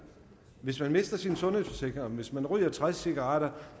hvis man mister sin sundhedsforsikring hvis man ryger tres cigaretter